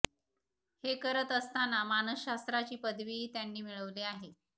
हे करत असताना मानसशास्त्रची पदवीही त्यांनी मिळवली आहे